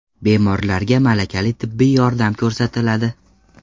Bemorlarga malakali tibbiy yordam ko‘rsatiladi.